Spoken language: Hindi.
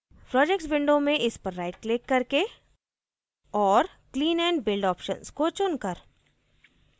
projects window में इस पर right क्लिक करके और clean and build ऑप्शन्स को चुन कर